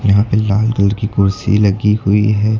यहां पे लाल कलर की कुर्सी लगी हुई है।